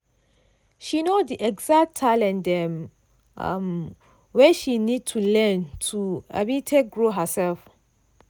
she know the exact talent dem um wey she need to learn to um take grow herself.